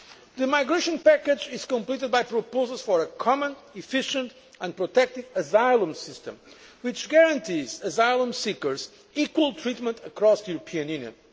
The migration package is completed by proposals for a common, efficient and protective asylum system which guarantees asylum seekers equal treatment across the European